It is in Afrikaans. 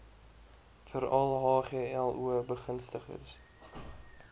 veral hglo begunstigdes